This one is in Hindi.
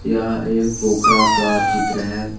यह एक पोखरा का चित्र है।